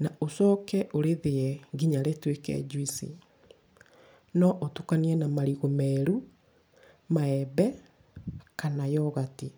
na ũcoke ũrĩthĩe nginya rĩtuĩke njuici. No ũtukanie na marigũ meru, maembe kana yogati.